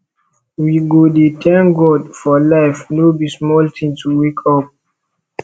we go dey thank god for life no be small tin to wake up